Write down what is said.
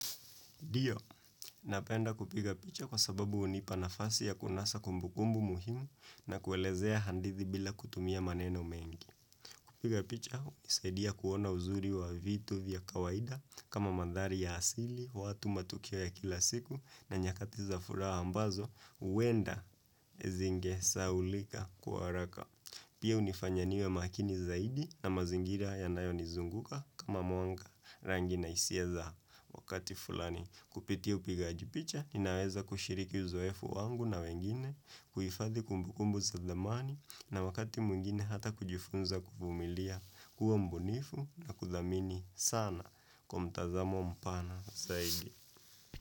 Ndio, napenda kupiga picha kwasababu hunipa nafasi ya kunasa kumbukumbu muhimu na kuelezea hadithi bila kutumia maneno mengi. Kupiga picha, hunisaidia kuona uzuri wa vitu vya kawaida kama madhari ya asili, watu matukio ya kila siku na nyakati za furaha ambazo, huenda zingesaulika kwa haraka. Pia hunifanya niwe makini zaidi na mazingira yanayonizunguka kama mwanga rangi na hisia za wakati fulani. Kupitia upigaji picha, ninaweza kushiriki uzoefu wangu na wengine, kuifathi kumbukumbu za dhamani na wakati mwingine hata kujifunza kuvumilia uwe mbunifu na kudhamini sana kwa mtazamo mpana zaidi.